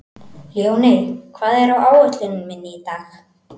Ljóney, hvað er á áætluninni minni í dag?